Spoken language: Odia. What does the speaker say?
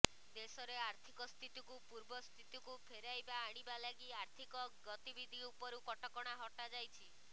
ଦେଶରେ ଆର୍ଥିକ ସ୍ଥିତିକୁ ପୂର୍ବ ସ୍ଥିତିକୁ ଫେରାଇବା ଆଣିବା ଲାଗି ଆର୍ଥିକ ଗତିବିଧି ଉପରୁ କଟକଣା ହଟାଯାଇଛି